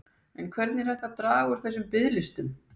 En hvernig er hægt að draga úr þessum biðlistum?